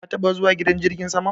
Ka taba zuwa gidan jirgin sama?